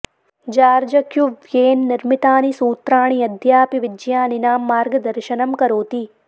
George Cuvier निर्मितानि सूत्राणि अद्यापि विज्ञानिनां मार्गदर्शनं करोति